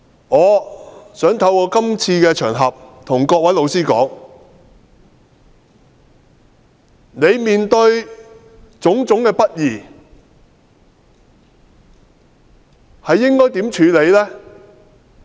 我想透過這個場合向每位老師說：你面對的種種不義應該如何處理？